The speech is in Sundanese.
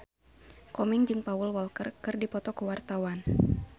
Komeng jeung Paul Walker keur dipoto ku wartawan